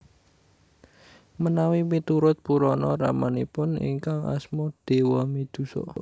Menawi miturut Purana ramanipun ingkang Asma Dewamidhusa